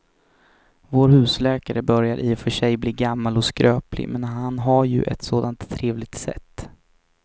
Vår husläkare börjar i och för sig bli gammal och skröplig, men han har ju ett sådant trevligt sätt!